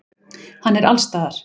Hann er allsstaðar.